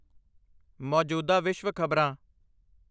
ਮੌਜੂਦਾ ਵਿਸ਼ਵ ਖ਼ਬਰਾਂ||